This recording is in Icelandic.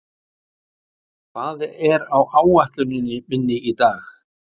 Klementína, hvað er á áætluninni minni í dag?